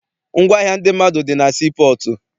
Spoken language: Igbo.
Ngwaahịa ndị mmadụ dị na sii pọọtụ.